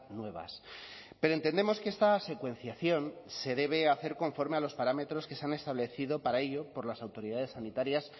nuevas pero entendemos que esta secuenciación se debe hacer conforme a los parámetros que se han establecido para ello por las autoridades sanitarias